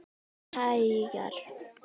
Bara hægar.